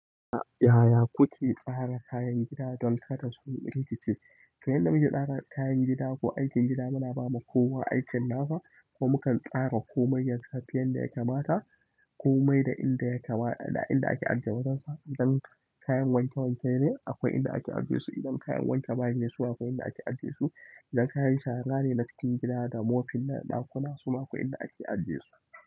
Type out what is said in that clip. Yaya kuke tsara kayan gida don kada su rikice? To yanda muke tsara kayan gida ko aikin gida muna ba ma kuwa aikin nasa ko mukan tsara komai ya tafi yanda ya kamata komai da inda yake mata da inda ake ajiye wajensa. Dan kayan wanke wanke ne akwai inda ake ajiye su, idan kayan wanke bayi ne su akwai inda ake ajiye su. Idan kayan shara ne na cikin gida da mofin na ɗakuna suma akwai inda ake ajiye su.